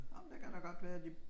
Ej men det kan da godt være at de